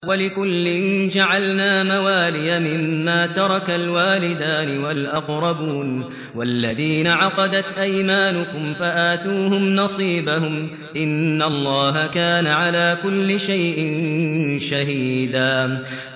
وَلِكُلٍّ جَعَلْنَا مَوَالِيَ مِمَّا تَرَكَ الْوَالِدَانِ وَالْأَقْرَبُونَ ۚ وَالَّذِينَ عَقَدَتْ أَيْمَانُكُمْ فَآتُوهُمْ نَصِيبَهُمْ ۚ إِنَّ اللَّهَ كَانَ عَلَىٰ كُلِّ شَيْءٍ شَهِيدًا